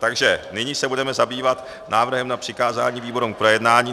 Takže nyní se budeme zabývat návrhem na přikázání výborům k projednání.